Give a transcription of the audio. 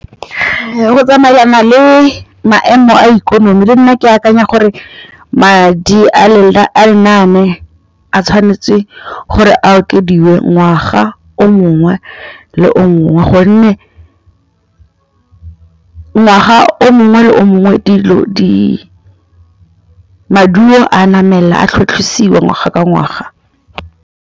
Rakwena o tlhalositse gore madi a a dirisediwang lenaane leno a okediwa ngwaga yo mongwe le yo mongwe go tsamaelana le